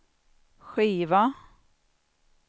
skiva